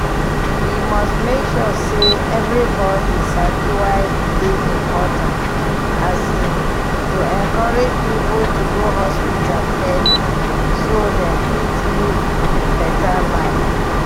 we must make sure say everybody sabi why e dey important um to encourage people to go hospital early so dem fit live better life.